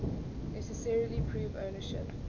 necessarily prove ownership